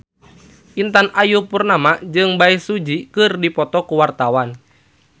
Intan Ayu Purnama jeung Bae Su Ji keur dipoto ku wartawan